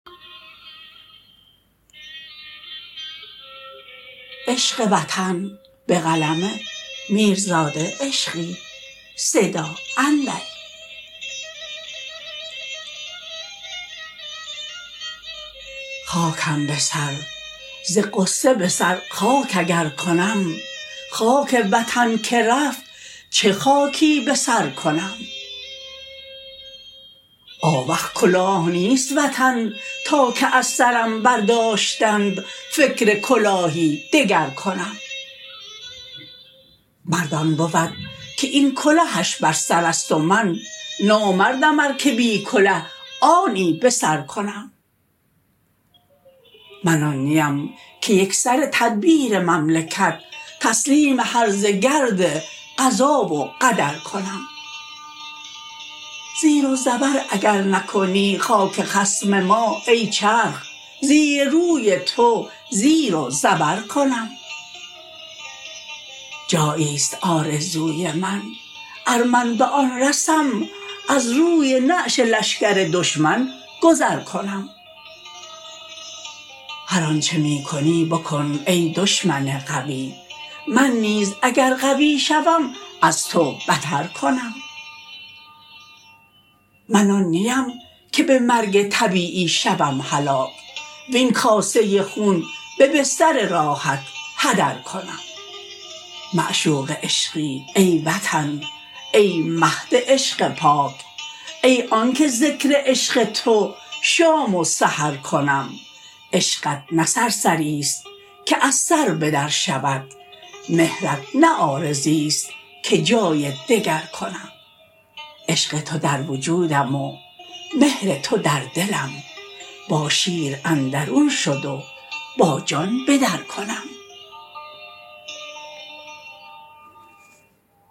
خاکم به سر ز غصه به سر خاک اگر کنم خاک وطن که رفت چه خاکی به سر کنم آوخ کلاه نیست وطن تا که از سرم برداشتند فکر کلاهی دگر کنم مرد آن بود که این کلهش بر سر است و من نامردم ار که بی کله آنی بسر کنم من آن نیم که یکسره تدبیر مملکت تسلیم هرزه گرد قضا و قدر کنم زیر و زبر اگر نکنی خاک خصم ما ای چرخ زیر و روی تو زیر و زبر کنم جاییست آرزوی من ار من به آن رسم از روی نعش لشکر دشمن گذر کنم هر آنچه می کنی بکن ای دشمن قوی من نیز اگر قوی شدم از تو بتر کنم من آن نیم به مرگ طبیعی شوم هلاک وین کاسه خون به بستر راحت هدر کنم معشوق عشقی ای وطن ای مهد عشق پاک ای آن که ذکر عشق تو شام و سحر کنم عشقت نه سرسری است که از سر به در شود مهرت نه عارضیست که جای دگر کنم عشق تو در وجودم و مهر تو در دلم با شیر اندرون شد و با جان به در کنم